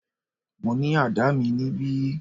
Mo ní àdá mi níbí.